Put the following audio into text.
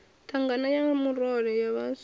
thangana ya murole ya vhaswa